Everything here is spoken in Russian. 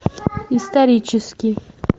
исторический